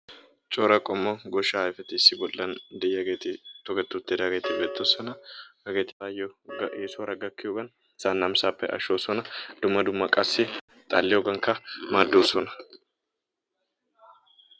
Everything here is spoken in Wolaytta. Cora qommo goshshaa ayfeti issi bollan de"iyageeti toketti uttidaageeti beettoosona. Hageetu go"ayi eesuwara gakkiyogaan asaa namisaappe ashshoosona. Dumma dumma qassi xalliyogankka maaddoosona.